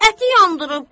Əti yandırıb.